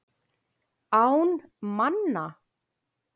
Án manna.